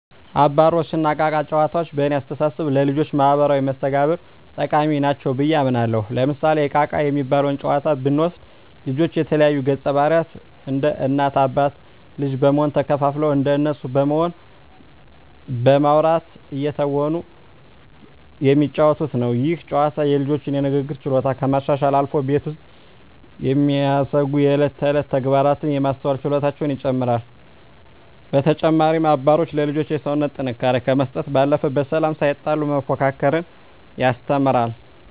አባሮሽ እና እቃ እቃ ጨዋታዎች በእኔ አስተሳሰብ ለልጆች ማህበራዊ መስተጋብር ጠቃሚ ናቸው ብየ አምናለሁ። ለምሳሌ እቃ እቃ የሚባለውን ጨዋታ ብንወስድ ልጆች የተለያዩ ገፀባህርይ እንደ እናት አባት ልጅ በመሆን ተከፋፍለው እንደነሱ በመሆን በማዉራት እየተወኑ የሚጫወቱት ነው። ይህ ጨዋታ የልጆቹን የንግግር ችሎታ ከማሻሻልም አልፎ ቤት ውስጥ የሚደሰጉ የእለት ተእለት ተግባራትን የማስተዋል ችሎታቸውን ይጨመራል። በተጨማሪም አባሮሽ ለልጆች የሰውነት ጥንካሬ ከመስጠት ባለፈ በሰላም ሳይጣሉ መፎካከርን ያስተምራል።